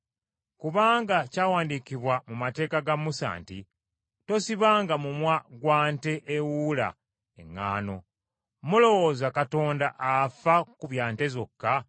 Kubanga kyawandiikibwa mu mateeka ga Musa nti, “Tosibanga mumwa gwa nte ewuula eŋŋaano,” Mulowooza Katonda afa ku bya nte zokka,